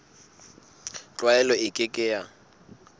tlwaelo e ke ke ya